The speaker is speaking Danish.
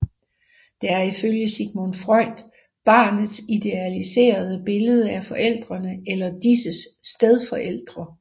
Det er ifølge Sigmund Freud barnets idealiserede billede af forældrene eller disses stedfortrædere